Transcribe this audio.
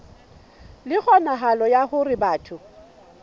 le kgonahalo ya hore batho